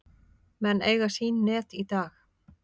Menn eiga sín net í dag.